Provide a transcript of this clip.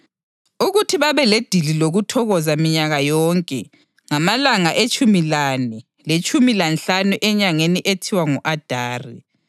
ukuthi babeledili lokuthokoza minyaka yonke ngamalanga etshumi lane letshumi lanhlanu enyangeni ethiwa ngu-Adari